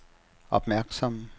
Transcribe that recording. opmærksom